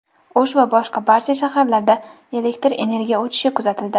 O‘sh va boshqa barcha shaharlarda elektr energiya o‘chishi kuzatildi.